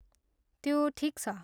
त्यो ठिक छ।